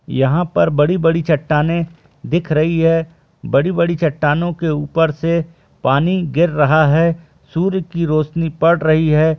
यहाँ पर बड़ी-बड़ी चट्टाने दिख रही है बड़ी-बड़ी चट्टानों के ऊपर से पानी गिर रहा है सूर्य की रौशनी पड़ रही है।